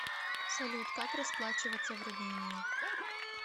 салют как расплачиваться в румынии